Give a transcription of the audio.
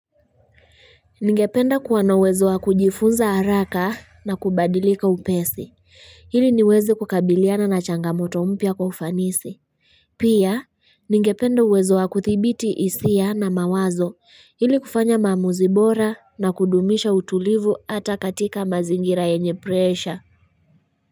Ningependa kuwa na uwezo wa kujifunza haraka na kubadilika upesi ili niwezi kukabiliana na changamoto mpya kwa ufanisi pia ningependa uwezo wa kuthibiti hisia na mawazo ili kufanya maamuzi bora na kudumisha utulivu hata katika mazingira yenye presha.